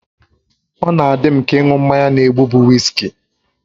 Ọ na-adị m ka ịṅụ mmanya na-egbu bụ wiski